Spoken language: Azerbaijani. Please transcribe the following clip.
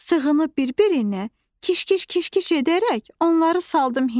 Sığınıb bir-birinə, kiş-kiş-kiş-kiş edərək onları saldım hinə.